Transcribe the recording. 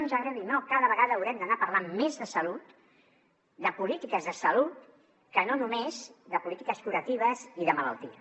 ens agradi o no cada vegada haurem d’anar parlant més de salut de polítiques de salut i no només de polítiques curatives i de malaltia